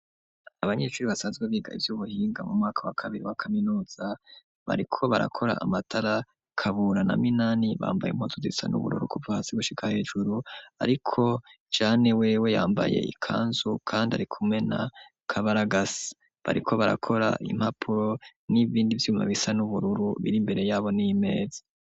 Abanyeshuri basanzwe biga ivy'ubuhinga mu mwaka wa kabiri wa kaminuza bari ko barakora amatara kabura na minani bambaye impuzu zisa n'ubururu ku pvasi gushika hejuru ariko jane wewe yambaye ikanzu kandi arikume na kabaragasa bariko barakora impapuro n'ibindi vyuma bisa n'ubururu biri imbere yabo n'iimazi.